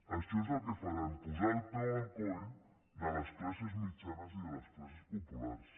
això és el que faran posar el peu al coll de les classes mitjanes i de les classes populars